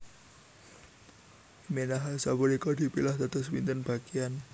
Minahasa punika dipilah dados pinten bagian